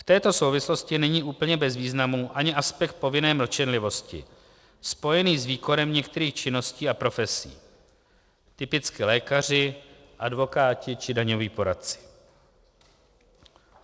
V této souvislosti není úplně bez významu ani aspekt povinné mlčenlivosti spojený s výkonem některých činností a profesí - typicky lékaři, advokáti či daňoví poradci.